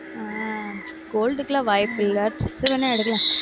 ஆஹ் gold க்கு எல்லாம் வாய்ப்பில்ல dress வேணா எடுக்கலாம்